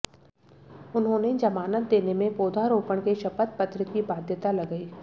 उन्होंने जमानत देने में पौधारोपण के शपथ पत्र की बाध्यता लगाई